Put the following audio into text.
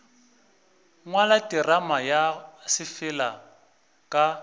ngwala terama ya sefala ka